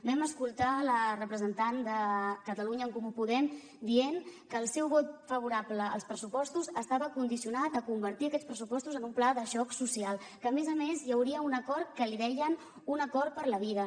vam escoltar la representant de catalunya en comú podem dient que el seu vot favorable als pressupostos estava condicionat a convertir aquests pressupostos en un pla de xoc social que a més a més hi hauria un acord que en deien un acord per la vida